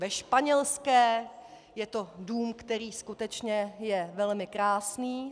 Ve Španělské je to dům, který skutečně je velmi krásný.